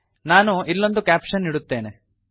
ನಾನು ಇಲ್ಲೊಂದು ಕ್ಯಾಪಶನ್ ಇಡುತ್ತೇನೆ